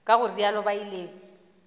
ka go realo ba ile